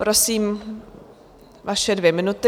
Prosím, vaše dvě minuty.